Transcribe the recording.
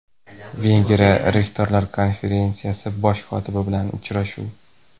Vengriya rektorlar Konferensiyasi bosh kotibi bilan uchrashuv.